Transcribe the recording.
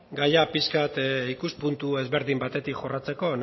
gaia pixka bat ikuspuntu ezberdin batetik jorratzeko